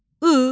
I.